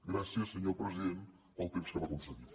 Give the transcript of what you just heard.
gràcies senyor president pel temps que m’ha concedit